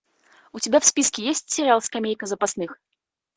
у тебя в списке есть сериал скамейка запасных